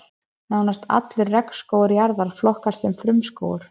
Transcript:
Nánast allur regnskógur jarðar flokkast sem frumskógur.